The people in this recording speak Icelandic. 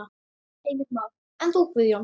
Heimir Már: En þú Guðjón?